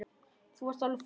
Þú varst alveg frábær.